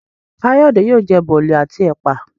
Kayode yóò jẹ Boli àti ẹpa.